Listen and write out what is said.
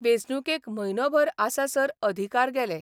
वेंचणुकेक म्हयनोभर आसासर अधिकार गेले.